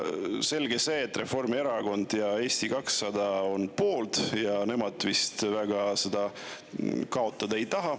Selge see, et Reformierakond ja Eesti 200 on poolt, nemad vist väga seda kaotada ei taha.